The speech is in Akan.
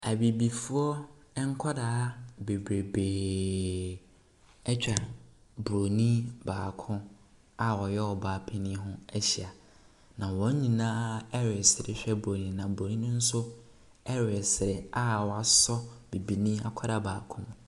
Abibifoɔ nkwadaa bebrebee atwa bronin baako a ɔyɛ ɔbaa ɛhɔ ahyia. Na wɔn nyinaa ɛrehwɛ bronin na bronin no so ɛresere a wasɔ bibini akwadaa baako mu.